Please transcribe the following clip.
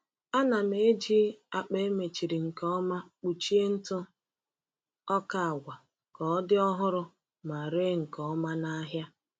Ana m eji akpa emechiri nke ọma kpuchie ntụ ọka agwa ka ọ dị ọhụrụ ma ree nke ọma n’ahịa.